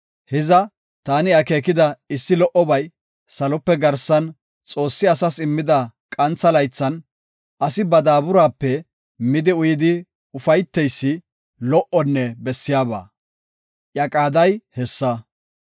Hiza, taani akeekida issi lo77obay, salope garsan Xoossi asas immida qantha laythan, asi ba daaburaape midi uyidi ufayteysi lo77onne bessiyaba; iya qaaday hessa.